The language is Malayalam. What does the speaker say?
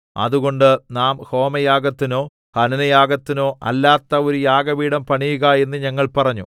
അതുകൊണ്ട് നാം ഹോമയാഗത്തിനോ ഹനനയാഗത്തിനോ അല്ലാത്ത ഒരു യാഗപീഠം പണിയുക എന്ന് ഞങ്ങൾ പറഞ്ഞു